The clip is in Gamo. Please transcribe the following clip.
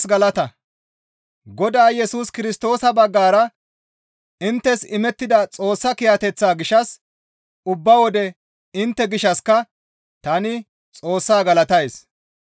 Godaa Yesus Kirstoosa baggara inttes imettida Xoossa kiyateththaa gishshas ubba wode intte gishshassika tani Xoossaa galatays.